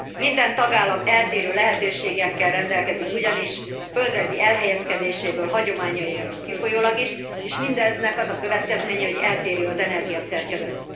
Minden tagállam eltérő lehetőségekkel rendelkezik ugyanis, földrajzi elhelyezkedéséből, hagyományaiból kifolyólag is, és mindennek az a következménye, hogy eltérő az energiaszerkezet.